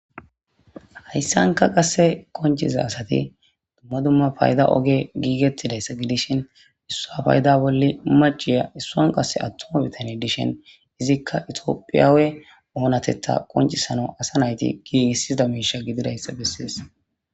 Hayssanka qase konciza asati dumma dumma payda oge giigettidayssa gidishin issa payda bolle maciya issuan qase attuma bitany dishin izikka itoophiyaawe oonatetha qoncisano asa nayti gii issizda miisha gididayssa bessees.